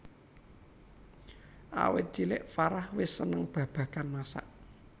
Awit cilik Farah wis seneng babagan masak